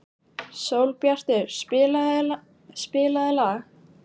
Sólbjartur, spilaðu lag.